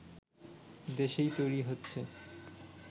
দেশেই তৈরি হচ্ছে